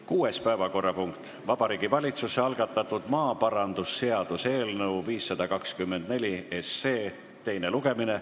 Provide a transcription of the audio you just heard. Kuues päevakorrapunkt: Vabariigi Valitsuse algatatud maaparandusseaduse eelnõu 524 teine lugemine.